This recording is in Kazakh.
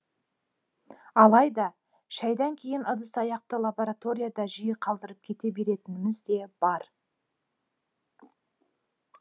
алайда шайдан кейін ыдыс аяқты лабораторияда жиі қалдырып кете беретініміз де бар